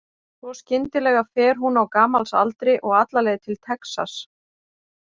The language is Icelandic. Svo skyndilega fer hún á gamals aldri og alla leið til Texas.